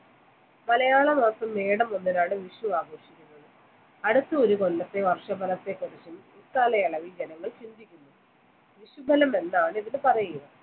മലയാളമാസം മേടം ഒന്നിനാണ് വിഷു ആഘോഷിക്കുന്നത് അടുത്ത ഒരു കൊല്ലത്തെ വർഷ ഫലത്തെ കുറിച്ചും കാലയളവിൽ ജനങ്ങൾ ചിന്തിക്കുന്നു വിഷുഫലം എന്നാണ് ഇതിന് പറയുന്നത്